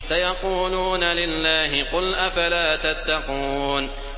سَيَقُولُونَ لِلَّهِ ۚ قُلْ أَفَلَا تَتَّقُونَ